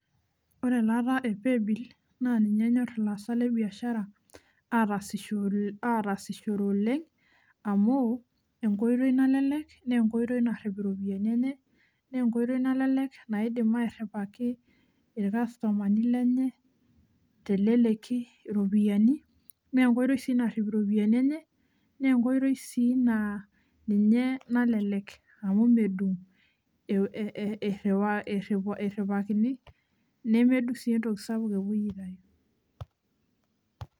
Ore elaata e paybill naa ninye enyor ilaasak lebiashara ataasishore oleng', amu enkoitoi nalelek naa enkoitoi narip iropiyiani enye, naa enkoitoi nalelek naidim airiwaki ilkastomani lenye teleleki iropiyiani, naa enkoitoi sii narip iropiyiani enye, naa enkoitoi sii naa ninye nalelek amu medung iriwakini nemedung sii entoki sapuk epoi aitayu.